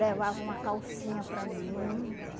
Levava uma calcinha para mim.